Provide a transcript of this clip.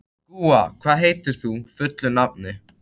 Gúa, hvað heitir þú fullu nafni?